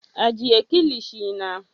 Ajiye kilishi na.